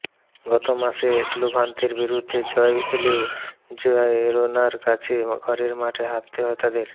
গত মাসে লেভান্তের বিরুদ্ধে জয় এলেও জিরোনার কাছে ঘরের মাঠে হারতে হয় তাদের